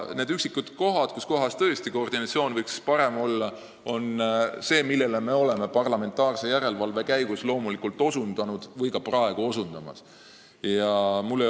Nendele üksikutele kohtadele, kus koordinatsioon võiks tõesti parem olla, oleme me parlamentaarse järelevalve käigus loomulikult osutanud ja osutame ka edaspidi.